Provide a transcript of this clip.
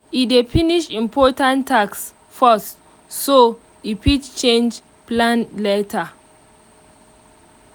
e dey finish important task first so e fit change plan later